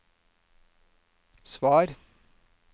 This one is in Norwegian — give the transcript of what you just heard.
svar